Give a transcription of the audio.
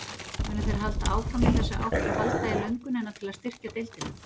Munu þeir halda áfram í þessa átt og halda í löngunina til að styrkja deildina?